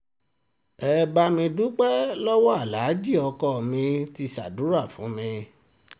ẹ bá mi dúpẹ́ lọ́wọ́ aláàjì ọkọ mi ti ṣàdúrà fún mi